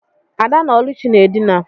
Ada na Oluchi na edina.